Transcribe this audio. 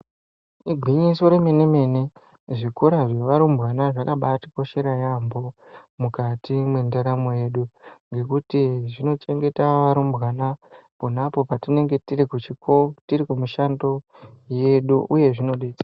Igwinyiso remene-mene zvikora zvevarumbwana zvakabaatikoshera yaampho, mukati mwendaramo yedu, ngekuti zvinochengeta arumbwana, pona apo tinenge tiri kuchiko, tiri kumushando yedu, uye zvinode....